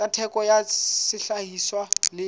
tsa theko ya sehlahiswa le